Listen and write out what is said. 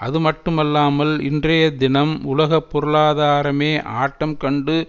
அதுமட்டுமல்லாமல் இன்றைய தினம் உலக பொருளாதாரமே ஆட்டம் கண்டு